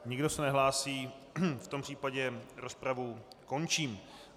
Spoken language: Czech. Nikdo se nehlásí, v tom případě rozpravu končím.